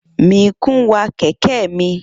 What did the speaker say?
Mikun wa kẹ̀kẹ́ mi.